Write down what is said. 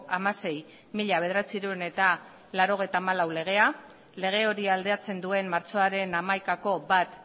hamasei barra mila bederatziehun eta laurogeita hamalau legea lege hori aldatzen duen martxoaren hamaikako bat